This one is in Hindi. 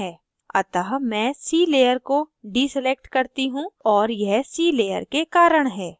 अतः मैं sea layer को deselect करती हूँ और यह sea layer के कारण है